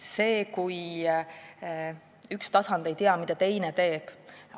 See, kui üks tasand ei tea, mida teine teeb, on halb.